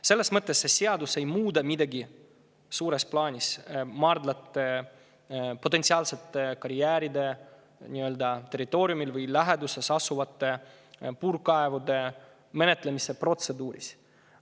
Selles mõttes see seadus ei muuda midagi suures plaanis potentsiaalsete karjääride territooriumil või nende läheduses asuvate puurkaevude menetlemise protseduuris.